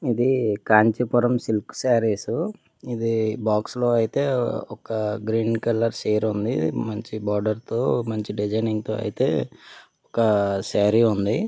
ఇది కాంచీపురం సిల్క్ సారీస్ ఇది బాక్స్ లో అయితే ఒక గ్రీన్ కలర్ చీర ఉంది . మంచి బార్డర్ తో మంచి డిజైనింగ్ తో అయితె ఒక సారీ ఉంది.